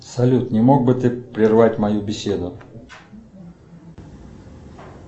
салют не мог бы ты прервать мою беседу